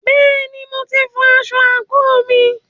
Bẹ́ẹ̀ni, mo ti fọ aṣọ àǹkóò mi.